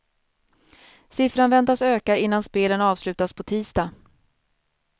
Siffran väntas öka innan spelen avslutas på tisdag.